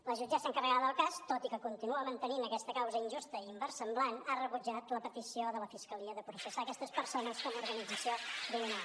la jutgessa encarregada del cas tot i que continua mantenint aquesta causa injusta i inversemblant ha rebutjat la petició de la fiscalia de processar aquestes persones com a organització criminal